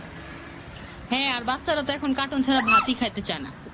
হ্যাঁ আর বাচ্চারা তো এখন কাটুন ছাড়া ভাতি খাইতে চায় না